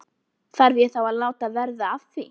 Þarf ég þá að láta verða að því?